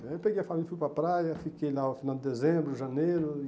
Aí eu peguei a família e fui para a praia, fiquei lá no final de dezembro, janeiro e...